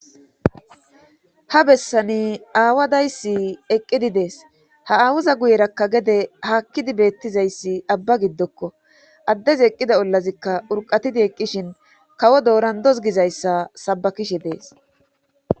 Ha bessani aawa daysi eqqidi dees. Ha aawuza guyerakka gede haakidi beetizayssi abba gidoko addezi eqqida ollazika urqqatidi dishin kawo doorandos gizayssa sabakishe dees.